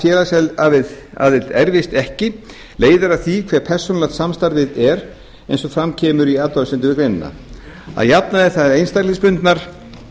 félagsaðild erfist ekki leiðir af því hve persónulegt samstarfið er eins og fram kemur í athugasemdum við greinina að jafnaði eru það einstaklingsbundnar